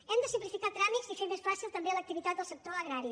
hem de simplificar tràmits i fer més fàcil també l’activitat del sector agrari